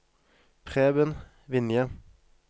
Preben Vinje